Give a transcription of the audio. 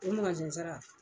O sara